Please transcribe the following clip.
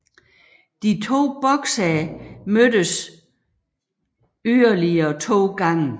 De to boksere mødtes yderligere to gange